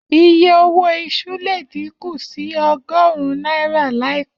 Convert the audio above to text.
Iye owó iṣu le díkù sí ọgọ́rún náírà láìpẹ́.